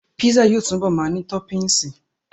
Písà yóò túbọ̀ ma ní tọ́pìnsí